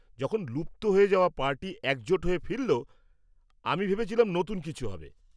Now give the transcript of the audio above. যখন লুপ্ত হয়ে যাওয়া পার্টি একজোট হয়ে ফিরল, আমি ভেবেছিলাম নতুন কিছু হবে...